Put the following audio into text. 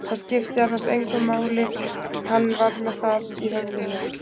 Það skipti annars engu máli- hann var með það í höfðinu